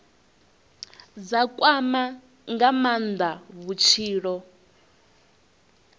dza kwama nga maanda vhutshilo